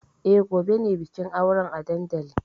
E, gobe ne bikin auren a dandalin.